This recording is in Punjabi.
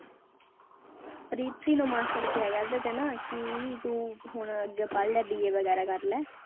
ਪ੍ਰੀਤੀ ਨੂੰ ਮਾਸੜ ਕਿਹਾ ਕਰਦਾ ਥੇ ਨਾ ਕਿ ਤੂੰ ਹੁਣ ਅੱਗੇ ਪੜ੍ਹ ਲੈ BA ਵਗ਼ੈਰਾ ਕਰ ਲੈ